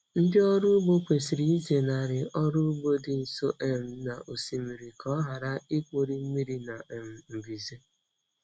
Ndị ọrụ ugbo kwesịrị ịzenarị ọrụ ugbo dị nso um na osimiri ka ọ ghara ikpori mmiri na um mbuze.